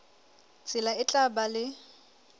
tsela e tla ba le